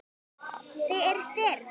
Þau eru stirð.